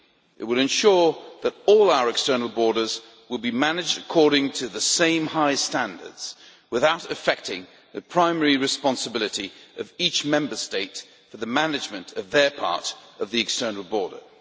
It will ensure that all our external borders will be managed according to the same high standards without affecting the primary responsibility of each Member State for the management of their part of the external borders.